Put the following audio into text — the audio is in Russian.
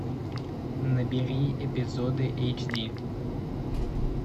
набери эпизоды эйч ди